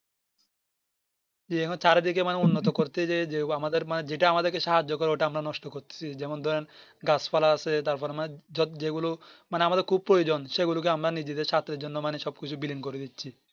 জি এরকম মানে চারিদিকে মানে উন্নত করতে যে মানে যেটা আমাদেরকে সাহায্য করে ওটা আমরা নষ্ট করতেছি যেমন ধরেন গাছ পালা আছে তার পরে মানে যে গুলো মানে আমাদের খুব প্রয়োজন সেগুলোকে আমরা নিজেদের সাস্থের জন্য মানে সবকিছু বিলীন করে দিচ্ছি